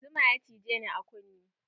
Zuma ya cijeni a kunne.